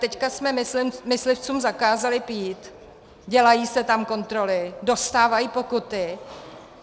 Teď jsme myslivcům zakázali pít, dělají se tam kontroly, dostávají pokuty.